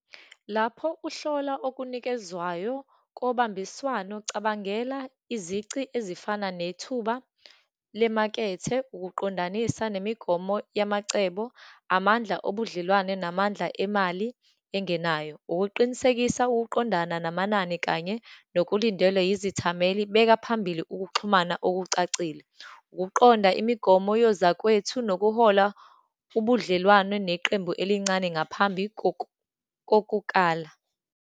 Lapho uhlola okunikezwayo kobambiswano, cabangela izici ezifana nethuba lemakethe, ukuqondanisa nemigomo yamacebo, amandla obudlelwane, namandla emali engenayo, ukuqinisekisa ukuqondana namanani, kanye nokulindelwe izithameli, beka phambili ukuxhumana okucacile, ukuqonda imigomo yozakwethu, nokuhola ubudlelwane neqembu elincane ngaphambi kokukala.